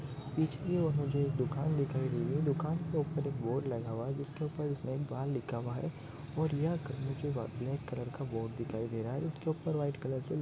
बीच मे और मुझे दुकान दिखाई दे रही है। दुकान के ऊपर एक बोर्ड लगा हुआ है जिसके ऊपर स्नैक बार लिखा हुआ है और यह आकर मुजे ब्लैक कलर का बोर्ड दिखाई दे रहा है। उसके ऊपर व्हाइट कलर --